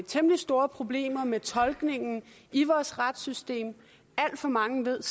temmelig store problemer med tolkningen i vores retssystem alt for mange ved